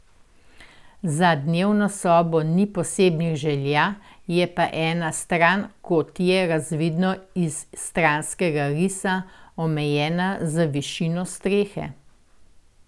Za dnevno sobo ni posebnih želja je pa ena stran, kot je razvidno iz stranskega risa, omejena z višino strehe.